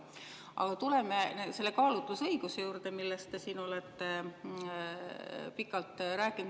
Aga tuleme selle kaalutlusõiguse juurde, millest te siin olete pikalt rääkinud.